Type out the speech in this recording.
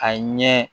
A ɲɛ